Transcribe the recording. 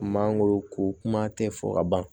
Mangoro ko kuma tɛ fɔ ka ban